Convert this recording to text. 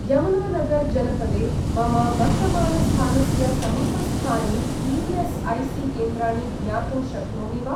यमुनानगर् जनपदे मम वर्तमानस्थानस्य समीपस्थानि ई.एस.ऐ.सी. केन्द्राणि ज्ञातुं शक्नोमि वा?